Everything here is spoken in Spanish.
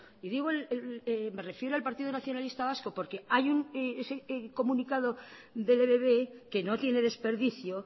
y digo el me refiero al partido nacionalista vasco porque hay un ese comunicado del ebb que no tiene desperdicio